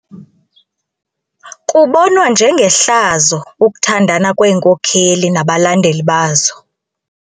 Kubonwa njengehlazo ukuthandana kweenkokeli nabalandeli bazo.